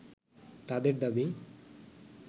তাদের দাবি